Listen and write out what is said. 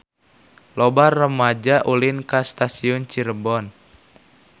Loba rumaja ulin ka Stasiun Cirebon